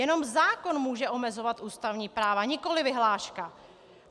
Jenom zákon může omezovat ústavní práva, nikoli vyhláška.